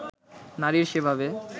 নারীর সেভাবে